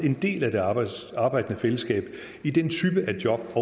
en del af det arbejdende arbejdende fællesskab i den type af job